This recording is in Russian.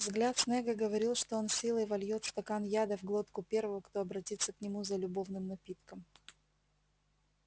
взгляд снегга говорил что он силой вольёт стакан яда в глотку первого кто обратится к нему за любовным напитком